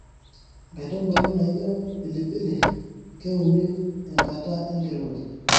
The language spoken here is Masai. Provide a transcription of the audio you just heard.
Nkaitubulu naijo pilipili keuni enkata enkirowaj.